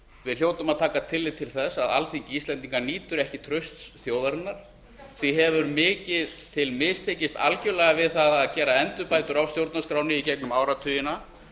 við hljótum að taka tillit til þess að alþingi íslendinga nýtur ekki trausts þjóðarinnar því hefur mikið til mistekist algjörlega við það að gera endurbætur á stjórnarskránni í gegnum áratugina